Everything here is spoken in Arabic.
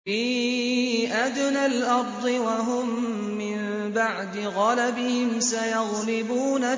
فِي أَدْنَى الْأَرْضِ وَهُم مِّن بَعْدِ غَلَبِهِمْ سَيَغْلِبُونَ